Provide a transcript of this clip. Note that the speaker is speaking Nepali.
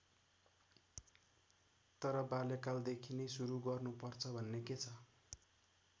तर बाल्यकालदेखि नै सुरु गर्नु पर्छ भन्ने के छ?